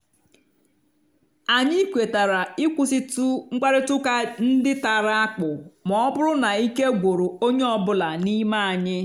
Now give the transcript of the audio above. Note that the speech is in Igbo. anyị kwetara ịkwụsịtụ mkparịta ụka ndị tara akpụ ma ọ bụrụ na ike gwụrụ onye ọ bụla n'ime anyị.